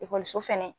Ekɔliso fɛnɛ